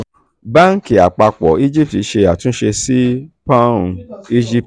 banki banki apapo egypt ṣe àtúnṣe sí poun egypt